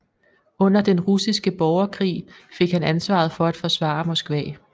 Under Den Russiske Borgerkrig fik han ansvaret for at forsvare Moskva